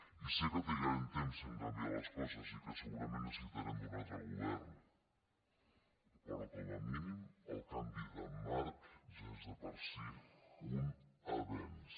i sé que trigarem temps a canviar les coses i que segurament necessitarem un altre govern però com a mínim el canvi de marc ja és de per si un avenç